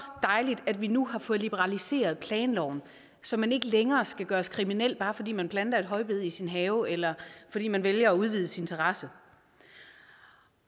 dejligt at vi nu har fået liberaliseret planloven så man ikke længere skal gøres kriminel bare fordi man planter et højbed i sin have eller fordi man vælger at udvide sin terrasse